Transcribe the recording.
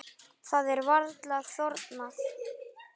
Það er varla þornað.